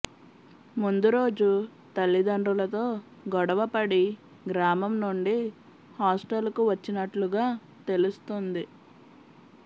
ముందు రోజు తల్లిదండ్రులతో గొడవపడి గ్రామం నుండి హాస్టల్కు వచ్చినట్లుగా తెలుస్తుంది